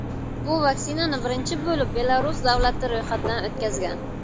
Bu vaksinani birinchi bo‘lib Belarus davlati ro‘yxatdan o‘tkazgan.